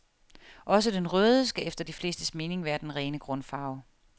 Også den røde skal efter de flestes mening være den rene grundfarve.